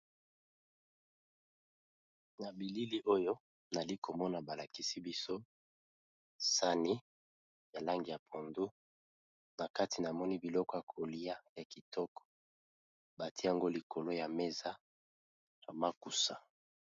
Na bilili oyo bazolakisa biso saani ya langi ya mayi ya pondu nakati namoni biloko yako lya batye yango likolo ya mesa.